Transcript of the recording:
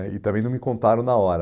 aí, e também não me contaram na hora.